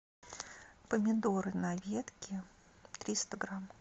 помидоры на ветке триста грамм